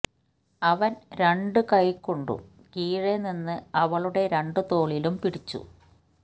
അവൻ രണ്ടു കൈകൊണ്ടും കീഴെ നിന്ന് അവളുടെ രണ്ടു തോളിലും പിടിച്ചു